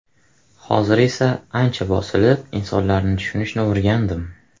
Hozir esa ancha bosilib, insonlarni tushunishni o‘rgandim.